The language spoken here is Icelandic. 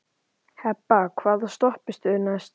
Hebba, hvaða stoppistöð er næst mér?